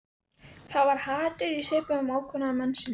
Það var hatur í svip ókunnuga mannsins.